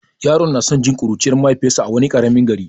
Yaron yana son jin labarin kuruciyar mahaifiyarsa a wani karamin gari.